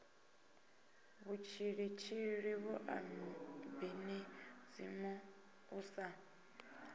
mutshilitshili vhua ibinizimu u sa